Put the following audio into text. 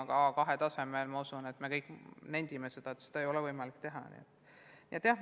Aga A2-tasemel, ma usun, me mõistame, ei ole võimalik õpetada.